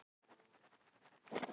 Ég lifi og leik mér.